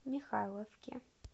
михайловке